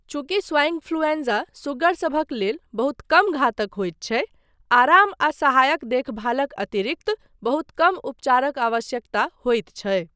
चूँकि swine influenza सुग्गरसभक लेल बहुत कम घातक होइत छै, आराम आ सहायक देखभालक अतिरिक्त बहुत कम उपचारक आवश्यकता होइत छै।